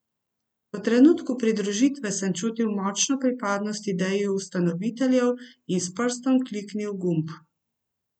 V trenutku pridružitve sem čutil močno pripadnost ideji ustanoviteljev in s prstom kliknil gumb.